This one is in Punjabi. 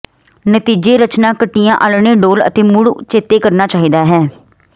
ਨਤੀਜੇ ਰਚਨਾ ਕੱਟਿਆ ਆਲ੍ਹਣੇ ਡੋਲ੍ਹ ਅਤੇ ਮੁੜ ਚੇਤੇ ਕਰਨਾ ਚਾਹੀਦਾ ਹੈ